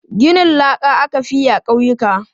Ginin laka aka fi yi a ƙauyuka.